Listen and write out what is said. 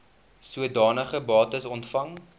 sodanige bates ontvang